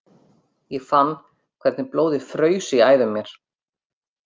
Ég fann hvernig blóðið fraus í æðum mér.